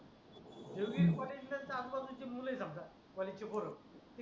एरवी कॉलेज ला आजूबाजूची मुलं समजा कॉलेजचे पोरं